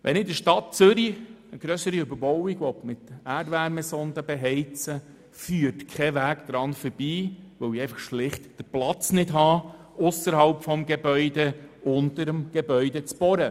Wenn ich in der Stadt Zürich eine grössere Überbauung mit Erdwärmesonden beheizen will, führt kein Weg daran vorbei, weil ich ausserhalb des Gebäudes schlicht keinen Platz habe, um unter dem Gebäude zu bohren.